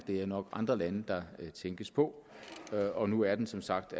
er nok andre lande der tænkes på og nu er den som sagt